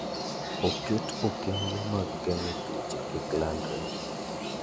Oket okenge mag geng'o tuoche kik landre.